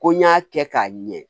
Ko n y'a kɛ k'a ɲɛ